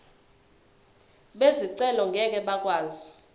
bezicelo ngeke bakwazi